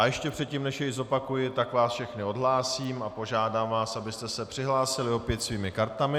A ještě předtím, než jej zopakuji, tak vás všechny odhlásím a požádám vás, abyste se přihlásili opět svými kartami.